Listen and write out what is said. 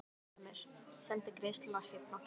Ég hugsaði með mér: Sendi greiðsluna seinna.